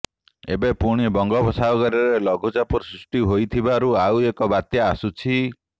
ଏବେ ପୁଣି ବଙ୍ଗୋପସାଗରରେ ଲଘୁଚାପ ସୃଷ୍ଟି ହୋଇଥିବାରୁ ଆଉ ଏକ ବାତ୍ୟା ଆସୁଛି